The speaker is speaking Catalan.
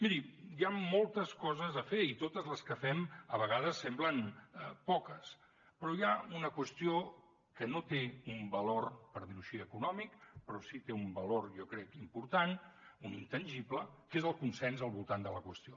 miri hi han moltes coses a fer i totes les que fem a vegades semblen poques però hi ha una qüestió que no té un valor per dir ho així econòmic però sí que té un valor jo crec important un intangible que és el consens al voltant de la qüestió